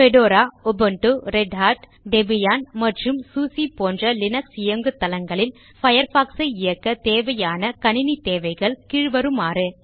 Fedora Ubuntu Red Hat Debian மற்றும் SUSE போன்ற Linux இயங்குதளங்களில் Firefoxசை இயக்கத் தேவையான கணிணித் தேவைகள் கீழ்வருமாறு